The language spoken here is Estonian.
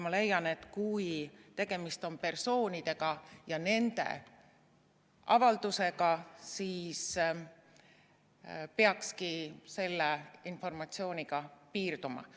Ma leian, et kui tegemist on persoonide ja nende avaldusega, siis peakski selle informatsiooniga piirduma.